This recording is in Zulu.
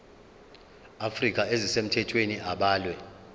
afrika ezisemthethweni abalwe